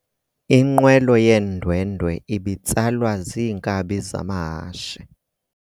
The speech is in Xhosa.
Inqwelo yeendwendwe ibitsalwa ziinkabi zamahashe.